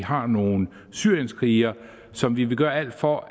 har nogle syrienskrigere som vi vil gøre alt for